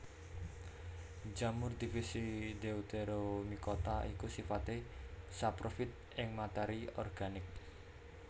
Jamur divisi Deuteromycota iku sifaté saprofit ing matéri organik